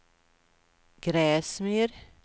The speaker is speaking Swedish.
Gräsmyr